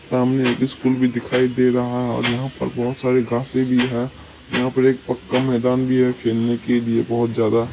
सामने एक स्कूल भी दिखाई दे रहा है और यहा पर बहुत सारी घासे भी है यहा पर एक पक्का मैदान भी है खेलने के लिए बहुत ज्यादा --